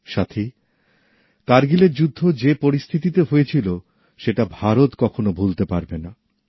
সাথী কারগিলের যুদ্ধ যে পরিস্থিতিতে হয়েছিল সেটা ভারত কখনও ভুলতে পারবে না